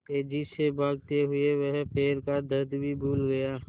तेज़ी से भागते हुए वह पैर का दर्द भी भूल गया